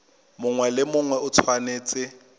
mongwe le mongwe o tshwanetse